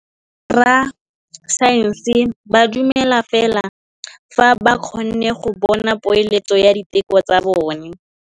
Borra saense ba dumela fela fa ba kgonne go bona poeletsô ya diteko tsa bone.